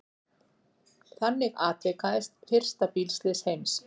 Þannig atvikaðist fyrsta bílslys heims.